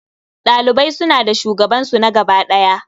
Ɗalibai suna da shugabansu na gaba ɗaya.